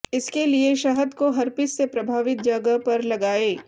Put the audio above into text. इसके लिए शहद को हर्पीस से प्रभावित जगह पर लगाए